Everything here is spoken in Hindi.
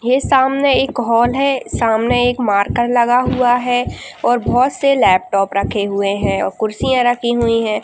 ये सामने एक हॉल है सामने एक मार्कर लगा हुआ है और बहुत से लैपटॉप रखे हुए हैं और कुर्सियाँ राखी हुई हैं।